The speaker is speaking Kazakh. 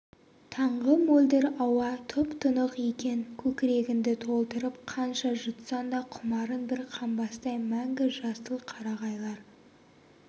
таңғы мөлдір ауа тұп-тұнық екен көкірегіңді толтырып қанша жұтсаң да құмарың бір қанбастай мәңгі жасыл қарағайлар